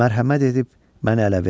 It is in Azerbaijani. Mərhəmət edib məni ələ vermə.